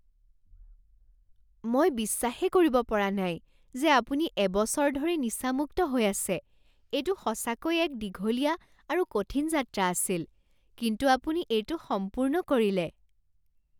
মই বিশ্বাসেই কৰিব পৰা নাই যে আপুনি এবছৰ ধৰি নিচামুক্ত হৈ আছে! এইটো সঁচাকৈ এক দীঘলীয়া আৰু কঠিন যাত্ৰা আছিল, কিন্তু আপুনি এইটো সম্পূৰ্ণ কৰিলে!